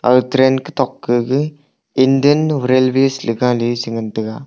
aga train ketok kega Indian railways ley gale cha ngan taiga.